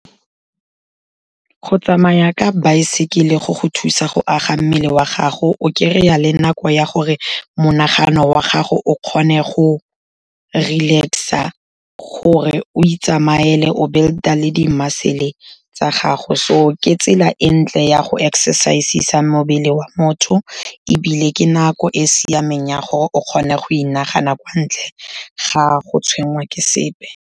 Go tsamaya ka baesekele go go thusa go aga mmele wa gago, o kry-a le nako ya gore monagano wa gago o kgone go relax-a, gore o itsamaele o build-a le di-muscle tsa gago. So ke tsela e ntle ya go exercise-isa mobele wa motho, ebile ke nako e e siameng ya gore o kgone go inagana bontle ga go tshwenngwa ke sepe.